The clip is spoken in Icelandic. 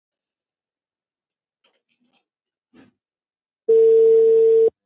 Gefum gjafir sem skipta máli.